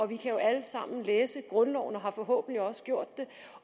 vi kan jo alle sammen læse grundloven og har forhåbentlig også gjort det